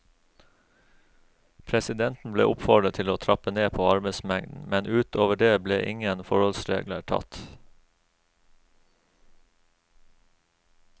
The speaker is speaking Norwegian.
Presidenten ble oppfordret til å trappe ned på arbeidsmengden, men ut over det ble ingen forholdsregler tatt.